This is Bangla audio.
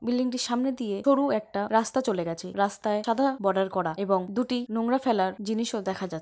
বিল্ডিং টির সামনে দিয়ে সরু একটা রাস্তা চলে গেছে রাস্তায় সাদা বর্ডার করা এবং দুটি নোংরা ফেলার জিনিসও দেখা যা--